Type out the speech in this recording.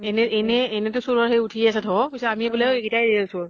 এনে এনে এনেটো চুৰৰ সেই ওঠিয়ে আছে ধৌ, পিছে আমি বুলে এইকেইটাই real চুৰ।